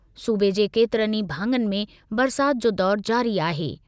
सूबे जे केतिरनि ई भाङनि में बरसाति जो दौरु जारी आहे।